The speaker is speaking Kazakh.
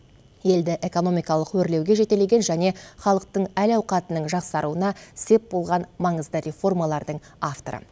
елді экономикалық өрлеуге жетелеген және халықтың әл ауқатының жақсаруына сеп болған маңызды реформалардың авторы